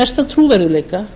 mestan trúverðugleika